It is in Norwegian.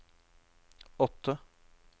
åtte